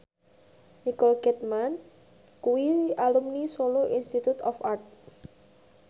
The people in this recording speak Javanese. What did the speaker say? Nicole Kidman kuwi alumni Solo Institute of Art